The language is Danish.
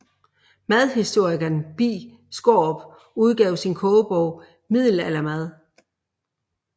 Madhistorikeren Bi Skaarup udgav sin kogebog Middelaldermad